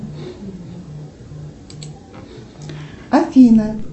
афина